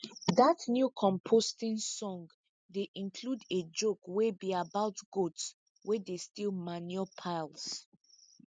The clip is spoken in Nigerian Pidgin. dat new composting song dey include a joke wey be about goats wey dey steal manure piles